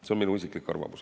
See on minu isiklik arvamus.